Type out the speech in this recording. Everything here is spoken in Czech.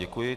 Děkuji.